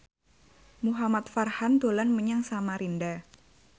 Muhamad Farhan dolan menyang Samarinda